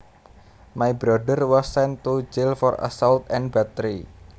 My brother was sent to jail for assault and battery